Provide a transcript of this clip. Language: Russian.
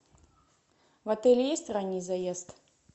в отеле есть ранний заезд